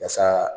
Yasa